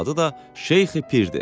Əsl adı da Şeyxi Pir idi.